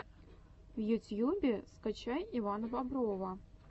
в ютьюбе скачай ивана боброва